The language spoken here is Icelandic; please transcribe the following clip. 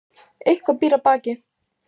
Eitthvað býr að baki